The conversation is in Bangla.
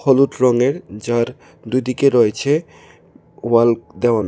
হলুদ রঙের যার দুইদিকে রয়েছে ওয়াল দেওয়ানো।